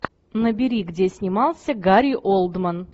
набери где снимался гари олдман